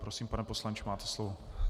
Prosím, pane poslanče, máte slovo.